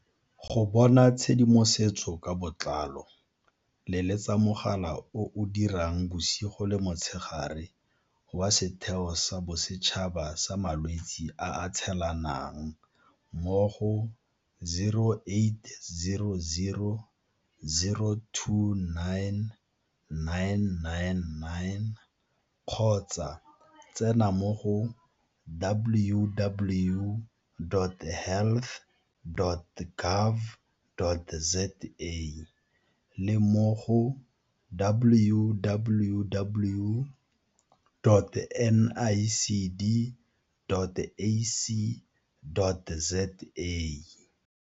Go bona tshedimosetso ka botlalo letsetsa mogala o o dirang bosigo le motshegare wa Setheo sa Bosetšhaba sa Malwetse a a Tshelanang mo go 0800 029 999 kgotsa tsena mo go www.health.gov.za le mo go www.nicd.ac.za